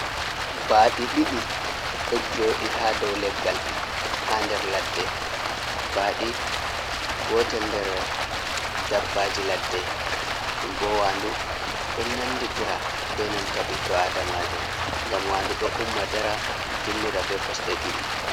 Baaɗi ɗiɗi, ɗo joɗi haa dow leggal haa nder ladde. Baaɗi gotel nder dabbaaji ladde, ɗum bo waandu ɗo nanditira be nanta ɓiɗɗo aadaamajo, ngam wandu ɗo umma dara dillira be kosɗe ɗiɗi.